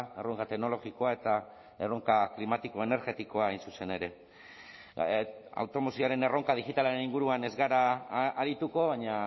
erronka teknologikoa eta erronka klimatiko energetikoa hain zuzen ere automozioaren erronka digitalaren inguruan ez gara arituko baina